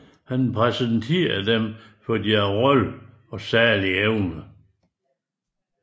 Han præsenterer dem for deres rolle og særlige evner